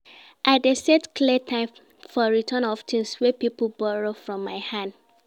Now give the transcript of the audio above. I dey set clear time for return of tins wey pipo borrow from my hand.